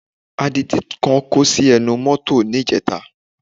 Adití kan kó sí ẹnu mọ́tọ̀ níjẹta